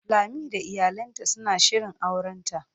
Lami da iyalinta suna shirin aurenta.